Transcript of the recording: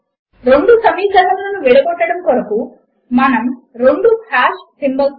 దీనితో మనము మాట్రిక్స్ మరియు లిబ్రేఆఫీస్ మాథ్ లో సమీకరణములను ఎలైన్ చేయడము అనే ట్యుటోరియల్ చివరకు వచ్చేసాము